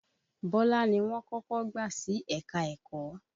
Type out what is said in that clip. Bọ́lá ni wọ́n kọ́kọ́ gbà sí ẹ̀ka-ẹ̀kọ́.